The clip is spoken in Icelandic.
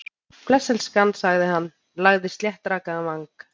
Bless, elskan- sagði hann, lagði sléttrakaðan vang